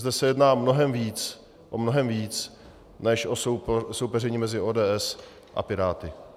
Zde se jedná o mnohem víc než o soupeření mezi ODS a Piráty.